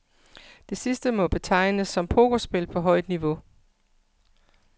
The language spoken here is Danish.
Det sidste må betegnes som pokerspil på højt niveau.